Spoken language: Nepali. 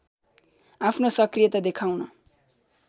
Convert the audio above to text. आफ्नो सक्रियता देखाउन